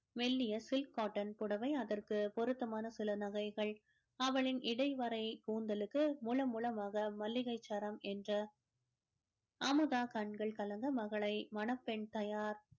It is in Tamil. மெல்லிய silk cotton புடவை அதற்கு பொருத்தமான சில நகைகள் அவளின் இடைவறை கூந்தலுக்கு முழு மூலமாக மல்லிகைச்சாரம் என்ற அமுதா கண்கள் கலங்க மகளை மணப்பெண் தயார்